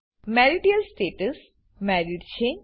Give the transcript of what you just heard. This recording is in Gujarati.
મેરિટલ સ્ટેટસ મેરીડ છે